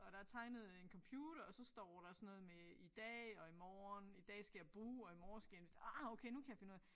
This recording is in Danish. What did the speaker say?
Og der tegnet en computer og så står der sådan noget med i dag og i morgen. I dag skal jeg bruge og i morgen skal jeg vist ah okay nu kan jeg finde ud af det